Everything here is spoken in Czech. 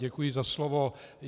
Děkuji za slovo.